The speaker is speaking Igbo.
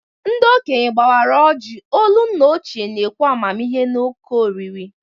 Ndi okenye gbawara ojii, olu nna ochie na-ekwu amamihe na òkè oriri.